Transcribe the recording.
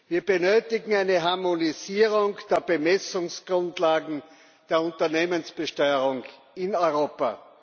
Wir benötigen eine Harmonisierung der Bemessungsgrundlagen der Unternehmensbesteuerung in Europa.